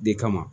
De kama